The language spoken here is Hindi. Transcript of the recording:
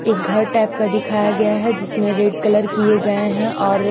एक घर टाइप का दिखाया गया है जिसमे रेड कलर किए गये है और --